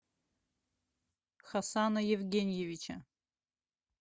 хасана евгеньевича